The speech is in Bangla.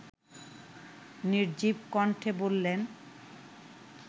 নির্জীব কণ্ঠে বললেন